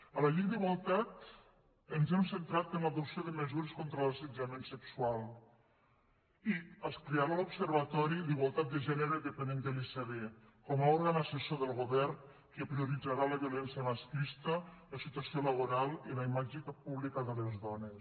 a la llei d’igualtat ens hem centrat en l’adopció de mesures contra l’assetjament sexual i es crearà l’observatori d’igualtat de gènere dependent de l’icd com a òrgan assessor del govern que prioritzarà la violència masclista la situació laboral i la imatge pública de les dones